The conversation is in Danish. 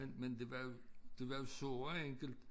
Men men det var jo det var jo så enkelt